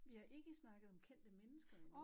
Vi har ikke snakket om kendte mennesker endnu